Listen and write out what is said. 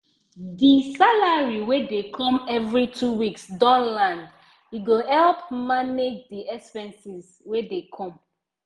the salary wey dey come every two weeks don land e go help manage the expenses wey dey come